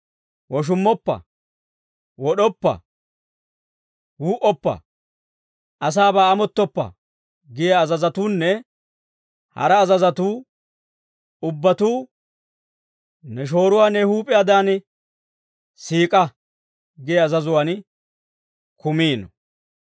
«Woshummoppa; wod'oppa; wuu"oppa; asaabaa amottoppa» giyaa azazatuunne hara azazatuu ubbatuu, «Ne shooruwaa ne huup'iyaadan siik'a» giyaa azazuwaan kumiino.